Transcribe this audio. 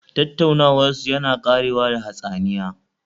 Tattaunawarsu yana ƙarewa da hatsaniya